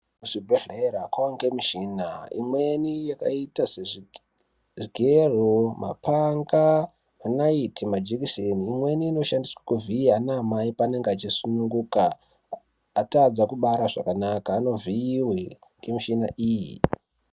Kuzvibhedhlera kwaange mishina, imweni yakaita sezvigero ,mapanga, nenaiti majekiseni, imweni inoshandiswe kuvhiya anamai paanenga achisununguka, atadza kubara zvakanaka, anovhiiwe ngemishina iyi.